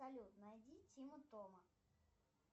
салют найди тима тома